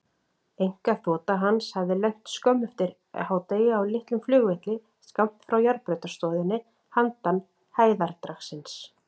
Einkaþota hans hafði lent skömmu eftir hádegi á litlum flugvelli skammt frá járnbrautarstöðinni handan hæðardragsins.